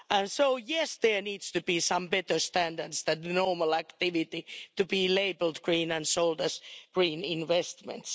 So yes, there need to be some better standards that normal activity to be labelled green and sold as green investments.